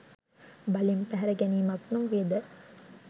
බලෙන් පැහැර ගැනීමක් නොවේද?